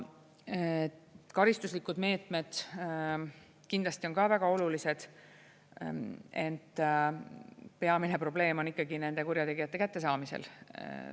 Karistuslikud meetmed kindlasti on ka väga olulised, ent peamine probleem on ikkagi nende kurjategijate kättesaamisel.